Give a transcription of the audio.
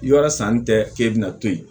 Yɔrɔ sanni tɛ k'e bɛna to ye